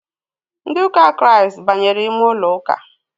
Ndị ụka kiriasti banyere ime ụlọụka